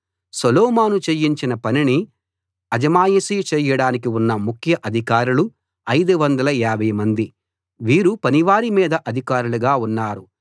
సొలొమోను చేయించిన పనిని అజమాయిషీ చేయడానికి ఉన్న ముఖ్య అధికారులు 550 మంది వీరు పనివారి మీద అధికారులుగా ఉన్నారు